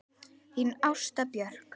Þín Ásta Björk.